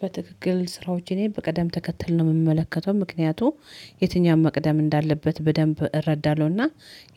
በትክክል ስራዎች እኔ በቀደም ተከተል ነው የምመለከተው ምክንያቱም የትኛውም መቅደም እንዳለበት በደንብ እረዳለሁና